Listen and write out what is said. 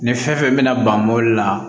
Ni fɛn fɛn bɛna ban mobili la